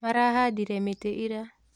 Marahandire mĩtĩ ira